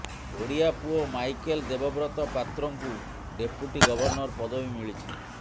ଓଡିଆ ପୁଅ ମାଇକେଲ ଦେବବ୍ରତ ପାତ୍ରଙ୍କୁ deputy governor ପଦବୀ ମିଳିଛି